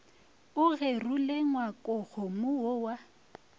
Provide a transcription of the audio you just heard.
o gerule ngwakokgomo wo wa